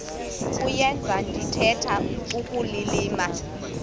kuyenza ndithetha ukulilima